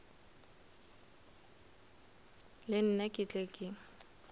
le nna ke tle ke